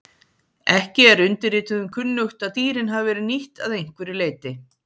ekki er undirrituðum kunnugt að dýrin hafi verið nýtt að einhverju leyti